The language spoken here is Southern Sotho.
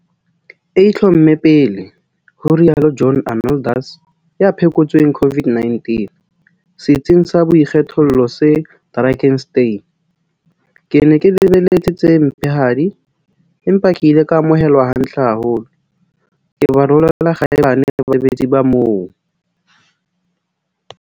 E itlhomme pele," ho rialo John Arnoldus, ya phekotsweng COVID-19 setsing sa boikgethollo se Drakenstein. "Ke ne ke lebeletse tse mpehadi, empa ke ile ka amohelwa hantle haholo. Ke ba rolela kgaebane basebetsi ba moo!